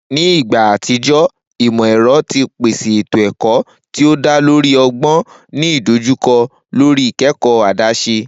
Ni igba atijọ, imọ-ẹrọ ti pese eto-ẹkọ ti o da lori ọgbọn, ni idojukọ lori ikẹkọ adaṣe.